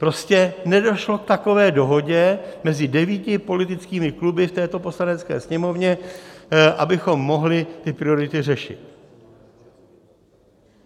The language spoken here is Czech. Prostě nedošlo k takové dohodě mezi devíti politickými kluby v této Poslanecké sněmovně, abychom mohli ty priority řešit.